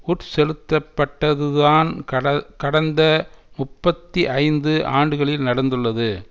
உட்செலுத்தப்பட்டதுதான் கட கடந்த முப்பத்தி ஐந்து ஆண்டுகளில் நடந்துள்ளது